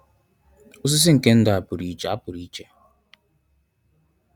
Osisi nke ndụ a pụrụ iche. a pụrụ iche.